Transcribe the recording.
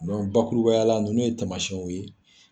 bakurubayala ninnu ye tamasiyɛnw ye